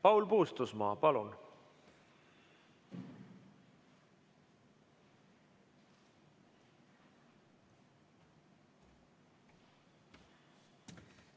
Paul Puustusmaa, palun!